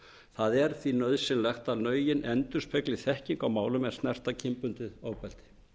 það er því nauðsynlegt er að lögin endurspegli þekkinguna á málum er snerta kynbundið ofbeldi